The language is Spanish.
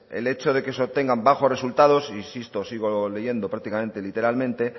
el hecho de que se obtengan bajos resultados e insisto sigo leyendo prácticamente literalmente